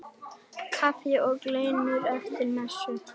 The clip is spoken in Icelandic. Kaffi og kleinur eftir messu.